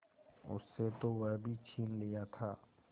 उससे तो वह भी छीन लिया था